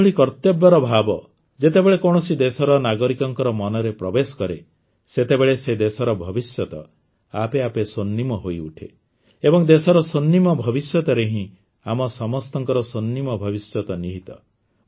ଏଭଳି କର୍ତବ୍ୟ ଭାବ ଯେତେବେଳେ କୌଣସି ଦେଶର ନାଗରିକଙ୍କ ମନରେ ପ୍ରବେଶ କରେ ସେତେବେଳେ ସେ ଦେଶର ଭବିଷ୍ୟତ ଆପେ ଆପେ ସ୍ୱର୍ଣ୍ଣିମ ହୋଇଉଠେ ଏବଂ ଦେଶର ସ୍ୱର୍ଣ୍ଣିମ ଭବିଷ୍ୟତରେ ହିଁ ଆମ ସମସ୍ତଙ୍କ ସ୍ୱର୍ଣ୍ଣିମ ଭବିଷ୍ୟତ ନିହିତ